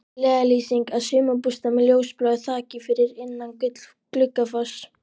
LEIÐARLÝSING að sumarbústað með ljósbláu þaki, fyrir innan Gluggafoss.